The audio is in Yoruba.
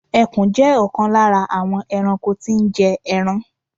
Ẹkùn jẹ́ ọ̀kan lára àwọn ẹranko tí ń jé ẹran.